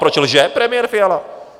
Proč lže premiér Fiala?